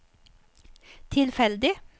tilfeldig